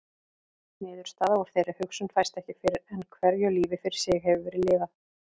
Niðurstaða úr þeirri hugsun fæst ekki fyrr en hverju lífi fyrir sig hefur verið lifað.